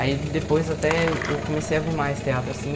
Aí depois até eu eu comecei a ver mais teatro, assim.